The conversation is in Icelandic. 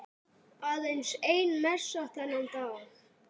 Aðeins ein messa þennan dag.